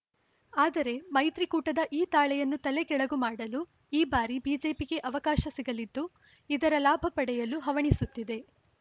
ಆದರೆ ಮೈತ್ರಿಕೂಟದ ಈ ತಾಳೆಯನ್ನು ತಲೆಕೆಳಗು ಮಾಡಲು ಈ ಬಾರಿ ಬಿಜೆಪಿಗೆ ಅವಕಾಶ ಸಿಗಲಿದ್ದು ಇದರ ಲಾಭ ಪಡೆಯಲು ಹವಣಿಸುತ್ತಿದೆ